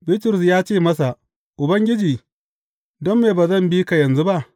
Bitrus ya ce masa, Ubangiji, don me ba zan binka yanzu ba?